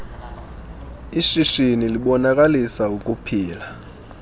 ishishini libonakalisa ukuphila